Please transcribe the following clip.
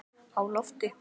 Á lofti